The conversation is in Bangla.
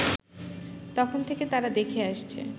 তখন থেকে তারা দেখে আসছে